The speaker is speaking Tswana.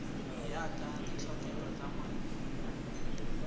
ya ka ditlhokego tsa molao